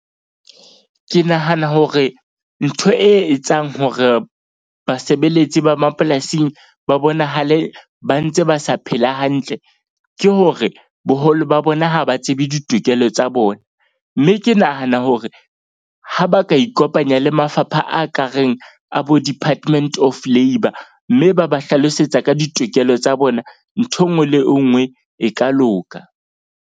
Ke nahana hore ntho e etsang hore basebeletsi ba mapolasing ba bonahale ba ntse ba sa phela hantle. Ke hore, boholo ba bona ha ba tsebe ditokelo tsa bona. Mme ke nahana hore ha ba ka ikopanya le mafapha a ka reng a bo Department of Labour. Mme ba ba hlalosetsa ka ditokelo tsa bona. Nthwe e nngwe le e nngwe e ka loka.